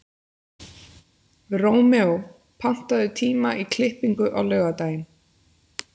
Rómeó, pantaðu tíma í klippingu á laugardaginn.